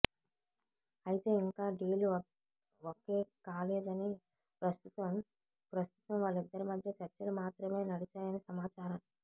అయితే ఇంకా deal okay కాలేదని ప్రస్తుతం ప్రస్తుతం వాళ్ళిద్దరి మధ్య చర్చలు మాత్రమే నడిచాయని సమాచారం